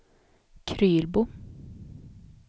Krylbo